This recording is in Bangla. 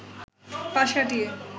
পাশ কাটিয়ে